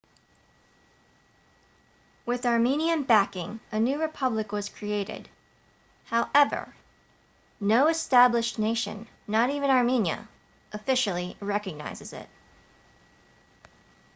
with armenian backing a new republic was created however no established nation not even armenia officially recognizes it